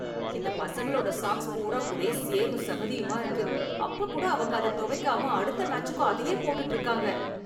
இந்த பசங்களோட சாக்ஸ் பூரா ஒரே சேரும் சகதியுமா இருக்கு, அப்பக் கூட அவங்க அதத் தொவைக்காம அடுத்த மேட்சுக்கும் அதயே போட்டுட்டு இருக்காங்க.